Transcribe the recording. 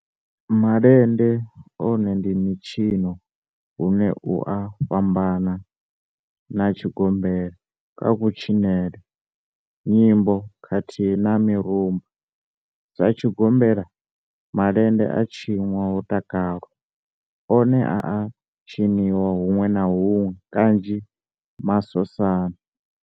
Malende one ndi mitshino une u a fhambana na tshigombela kha kutshinele, nyimbo khathihi na mirumba, Sa tshigombela, malende a tshinwa ho takalwa, one a a tshiniwa hunwe na hunwe kanzhi masosani.